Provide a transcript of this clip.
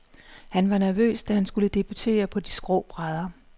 Han var nervøs, da han skulle debutere på de skrå brædder.